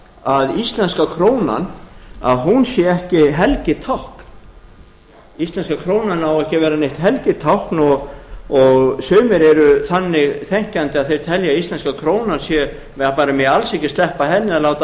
að íslenska krónan að hún sé ekki helgitákn íslenska krónan á ekki að verra neitt helgitákn og sumir eru þannig þenkjandi að þeir telja að það megi bara alls ekki sleppa henni eða láta